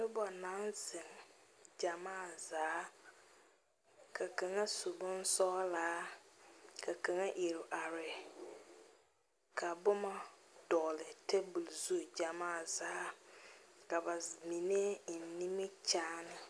Noba naŋ zeŋ gyamaa zaa ka kaŋa su bonsɔglaa ka kaŋ iri are ka boma dɔgeli tabol zu gyamaa zaa ka ba mine eŋ nimikyaane.